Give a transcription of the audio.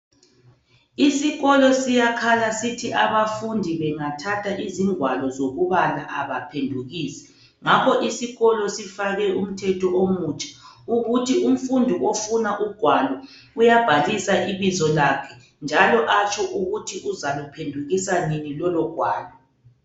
Isikolo siyakhala sithi abafundi bengathatha izingwalo zokubala abaphendukisi. Ngakho isikolo sifake umthetho omutsha ukuthi ofuna ugwalo uyabhalisa ibizo lakhe njalo atsho ukuthi uyaphendukisa nini lolo gwalo.